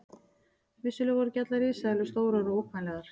Vissulega voru ekki allar risaeðlur stórar og ógnvænlegar.